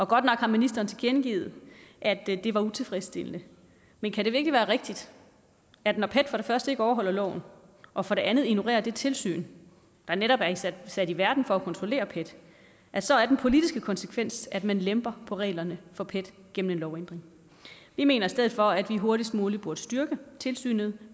godt nok har ministeren tilkendegivet at det var utilfredsstillende men kan det virkelig være rigtigt at når pet for det første ikke overholder loven og for det andet ignorerer det tilsyn der netop er sat i verden for at kontrollere pet så er den politiske konsekvens at man lemper på reglerne for pet gennem en lovændring vi mener i stedet for at vi hurtigst muligt burde styrke tilsynet